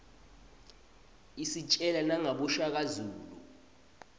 isitjela nangaboshaka zulu